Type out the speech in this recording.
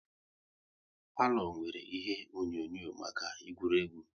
Palo nwèrè ihe onyonyo maka egwuregwu